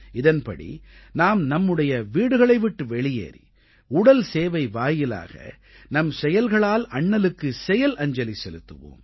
இதன்படி நாம் நம்முடைய வீடுகளை விட்டு வெளியேறி உடல் சேவை வாயிலாக நம் செயல்களால் அண்ணலுக்கு செயல்அஞ்சலி செலுத்துவோம்